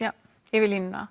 yfir línuna